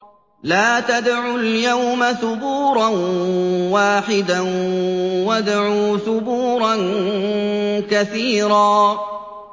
لَّا تَدْعُوا الْيَوْمَ ثُبُورًا وَاحِدًا وَادْعُوا ثُبُورًا كَثِيرًا